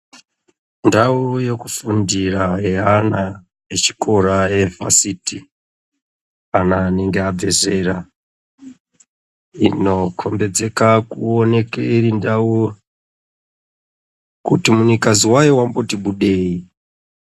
Ndau yekufundira yeana echikora Eva siti ,ana anenge abva zera inokombedzeka irindau kuti munikazi wayo wamboti budei....